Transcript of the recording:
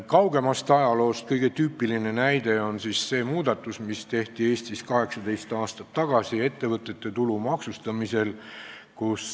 Kaugemast ajaloost on kõige tüüpilisem näide see muudatus, mis tehti Eestis 18 aastat tagasi ettevõtete tulumaksustamisel.